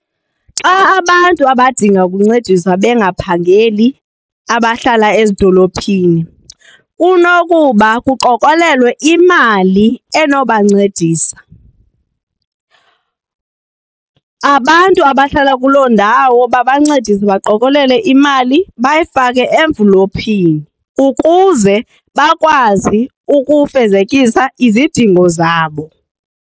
Xa abantu abadinga ukuncediswa bangaphangeli abahlala ezidolophini kunokuba kuqokolelwe imali enobancedisa. Abantu abahlala kuloo ndawo babancedise baqokelele imali bayifake emvulophini ukuze bakwazi ukufezekisa izidingo zabo.